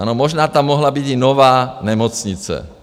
Ano, možná tam mohla být i nová nemocnice.